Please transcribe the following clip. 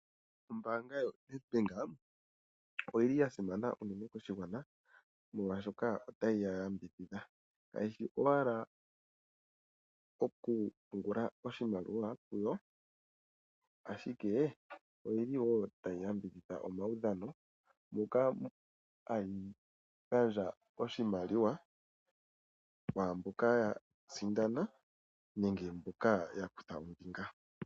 Ombaanga yoNedbank oyili yasimana uunene koshigwana molwaashoka otayi yambidhidha , kayishi owala okupungula oshimaliwa kuyo ashike oyili wo tayi yambidhidha omaudhano moka haa gandja oshimaliwa kwaamboka yasindana nenge mboka yakutha ombinga.